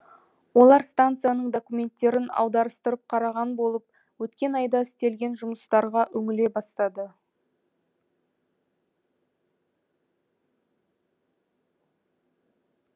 олар станцияның документтерін аударыстырып қараған болып өткен айда істелген жұмыстарға үңіле бастады